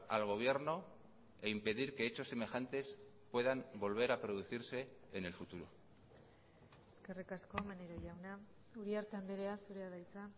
al gobierno e impedir que hechos semejantes puedan volver a producirse en el futuro eskerrik asko maneiro jauna uriarte andrea zurea da hitza